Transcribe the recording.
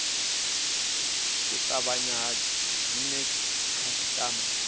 u tavhanya vha vhidze khasitama